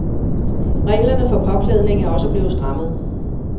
Reglerne for påklædningen er også blevet strammet.